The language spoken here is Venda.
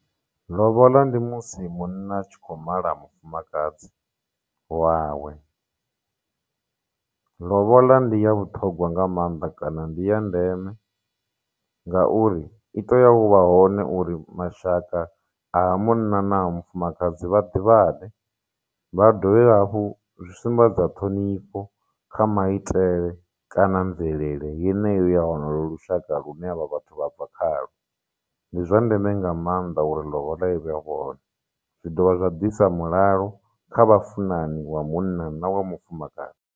Ḽoboḽa ndi musi munna a tshi kho mala mufumakadzi wawe ḽoboḽa ndi ya vhuṱhogwa nga mannḓa kana ndi ya ndeme ngauri i tea uvha hone uri mashaka a ha munna na mufumakadzi vha ḓivhane vha dovha hafhu zwi sumbedza ṱhonifho kha maitele kana mvelele yeneyo ya lonolo lushaka lune havha vhathu vha bva khalwo ndi zwa ndeme nga maanḓa uri ḽoboḽa i vhe hone zwi dovha zwa disa mulalo kha vhafunani wa munna na wa mufumakadzi.